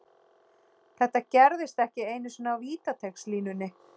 Þetta gerðist ekki einu sinni á vítateigslínunni.